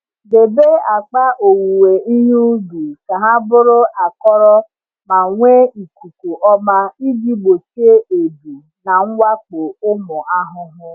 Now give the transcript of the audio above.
Debe akpa owuwe ihe ubi ka ha bụrụ akọrọ ma nwee ikuku ọma iji gbochie ebu na mwakpo ụmụ ahụhụ.